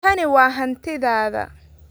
Tani waa hantidaada.